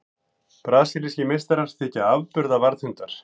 Brasilískir meistarar þykja afburða varðhundar.